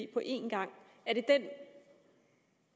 på en gang er det den